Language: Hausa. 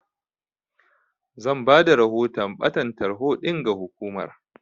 Zan bada rahoton ɓatan tarho ɗin ga hukumar.